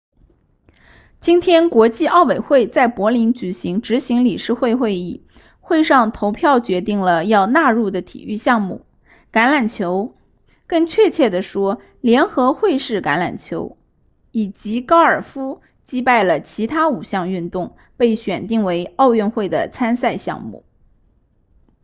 今天国际奥委会在柏林举行执行理事会会议会上投票决定了要纳入的体育项目橄榄球更确切地说联合会式橄榄球以及高尔夫击败了其他五项运动被选定为奥运会的参赛项目